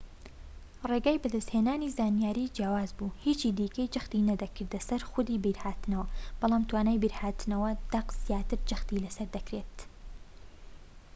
ڕێگای بەدەست هێنانی زانیاری جیاواز بوو هیچی دیکەی جەختی نەدەکردە سەر خودی بیرهاتنەوە بەڵام توانای بیرهاتنەوەی دەق زیاتر جەختی لە سەر دەکرێت